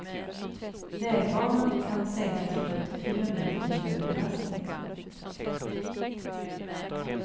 Vägbanan kan sänkas med upp till fyra meter vid hög belastning.